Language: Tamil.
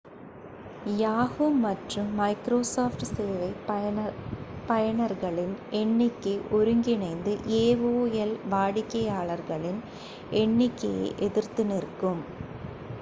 yahoo மற்றும் microsoft சேவை பயனர்களின் எண்ணிக்கை ஒருங்கிணைந்து aol வாடிக்கையாளர்களின் எண்ணிக்கையை எதிர்த்து நிற்கும்